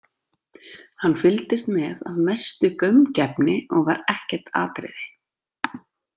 Hann fylgdist með af mestu gaumgæfni og var ekkert atriði.